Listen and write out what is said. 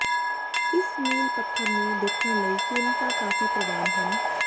ਇਸ ਮੀਲ ਪੱਥਰ ਨੂੰ ਦੇਖਣ ਲਈ ਕੀਮਤਾਂ ਕਾਫੀ ਪ੍ਰਵਾਨ ਹਨ